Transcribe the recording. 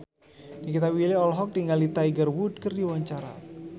Nikita Willy olohok ningali Tiger Wood keur diwawancara